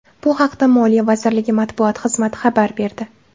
Bu haqda Moliya vazirligi matbuot xizmati xabar berdi.